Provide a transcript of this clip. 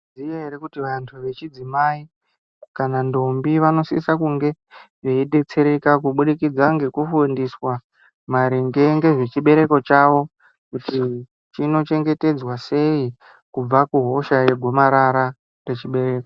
Mwaizviziya ere kuti vantu vechidzimai kana ndombi vanosisa kunge vechidetsereka kubudikidza ngekufundiswa maringe nezvechibereko chavo kuti chinochengetedzwa sei kubva kuhosha yegomarara rechibereko.